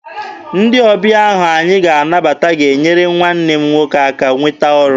Ndị ọbịa ahụ anyị ga-anabata ga-enyere nwanne m nwoke aka nweta ọrụ.